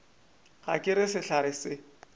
ga ke re sehlare se